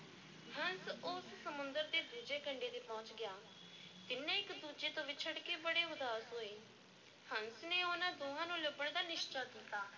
ਹੰਸ ਉਸ ਸਮੁੰਦਰ ਦੇ ਦੂਜੇ ਕੰਢੇ ਤੇ ਪਹੁੰਚ ਗਿਆ, ਤਿੰਨੇ ਇੱਕ-ਦੂਜੇ ਤੋਂ ਵਿੱਛੜ ਕੇ ਬੜੇ ਉਦਾਸ ਹੋਏ, ਹੰਸ ਨੇ ਉਹਨਾਂ ਦੋਹਾਂ ਨੂੰ ਲੱਭਣ ਦਾ ਨਿਸ਼ਚਾ ਕੀਤਾ।